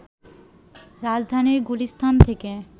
রাজধানীর গুলিস্তান থেকে